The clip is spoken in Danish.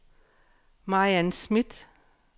Mariann Smidt